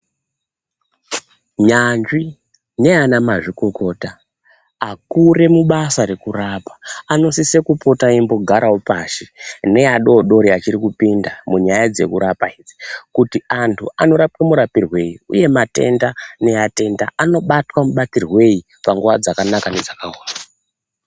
Nyanzvi neanamazvikokota, akure mubasa rekurapa, anosise kupota eimbogarawo pashi, neadodori achiri kupinda munyaya dzekurapa idzi, kuti antu anorapwe murapirwei, uye matenda neatenda anobatwa mubatirwei ,panguwa dzakanaka nedzakaoma.